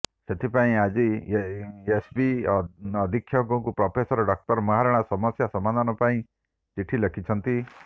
ସେଥିପାଇଁ ଆଜି ଏସ୍ସିବି ଅଧୀକ୍ଷକଙ୍କୁ ପ୍ରଫେସର ଡାକ୍ତର ମହାରଣା ସମସ୍ୟା ସମାଧାନ ପାଇଁ ଚିଠି ଲେଖିଛନ୍ତି